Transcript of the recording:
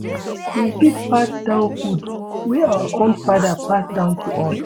We fit pass down food wey our own father pass down to us